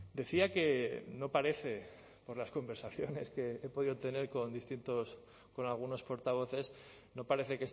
decía que no parece por las conversaciones que he podido tener con distintos con algunos portavoces no parece